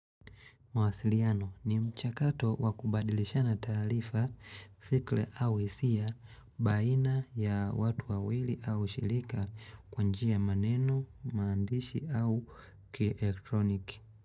Mawasiliano ni mchakato wa kubadilishana taalifa, fikle au hisia, baina ya watu wawili au shilika kwa njia maneno, maandishi au kielektroniki.